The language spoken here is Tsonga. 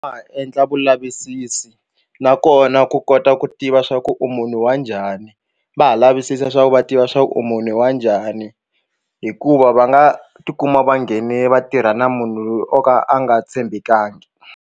Va ha endla vulavisisi nakona ku kota ku tiva swa ku u munhu wa njhani va ha lavisisa leswaku va tiva swa ku u munhu wa njhani hikuva va nga tikuma va nghene vatirha na munhu loyi o ka a nga tshembekanga.